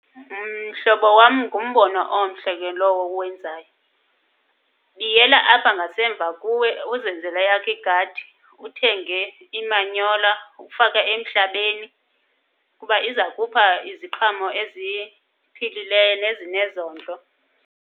Mhlobo wam ngumbono omhle ke lowo uwenzayo. Biyela apha ngasemva kuwe uzenzele eyakho igadi, uthenge imanyola ufake emhlabeni kuba iza kupha iziqhamo eziye eziphilileyo nezinezondlo.